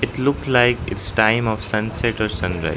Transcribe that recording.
it look like its time of sunset or sunrise.